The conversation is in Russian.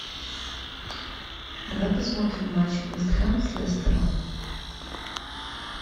давай посмотрим матч вест хэм с лестером